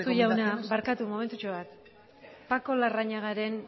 jauna barkatu momentutxo bat paco larrañagaren